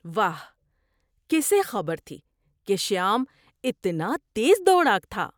واہ! کسے خبر تھی کہ شیام اتنا تیز دوڑاک تھا؟